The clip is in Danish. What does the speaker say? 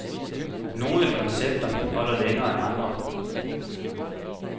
Nogle koncepter holder længere end andre.